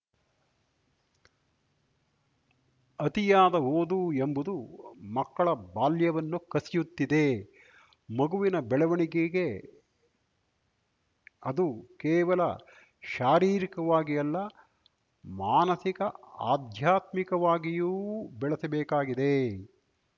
ಅತಿಯಾದ ಓದು ಎಂಬುದು ಮಕ್ಕಳ ಬಾಲ್ಯವನ್ನು ಕಸಿಯುತ್ತಿದೆ ಮಗುವಿನ ಬೆಳವಣಿಗೆಗೆ ಅದು ಕೇವಲ ಶಾರೀರಿಕವಾಗಿ ಅಲ್ಲ ಮಾನಸಿಕ ಆಧ್ಯಾತ್ಮಿಕವಾಗಿಯೂ ಬೆಳೆಸಬೇಕಾಗಿದೆ